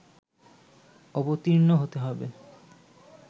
অবর্তীণ হতে হবে